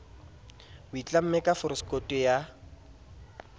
a itlamme ka forosekoto ya